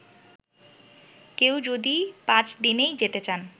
কেউ যদি পাঁচদিনই যেতে চান